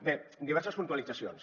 bé diverses puntualitzacions